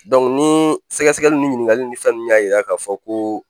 ni sɛgɛsɛgɛli ni ɲininkali ni fɛn nunnu y'a yira k'a fɔ ko